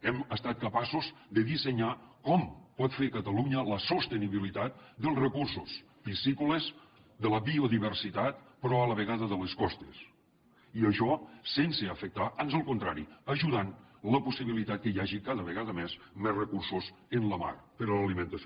hem estat capaços de dissenyar com pot fer catalunya la sostenibilitat dels recursos piscícoles de la biodiversitat però a la vegada de les costes i això sense afectar ans al contrari ajudant la possibilitat que hi hagi cada vegada més més recursos en la mar per a l’alimentació